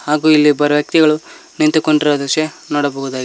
ಹಾಗು ಇಲ್ಲಿ ಇಬ್ಬರು ವ್ಯಕ್ತಿಗಳು ನಿಂತುಕೊಂಡಿರುವ ದೃಶ್ಯ ನೋಡಬಹುದಾಗಿದೆ.